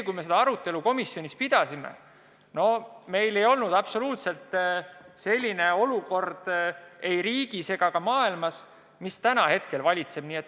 Kui me seda arutelu komisjonis pidasime, siis oli riigis absoluutselt teistsugune olukord kui see, mis meil praegu valitseb.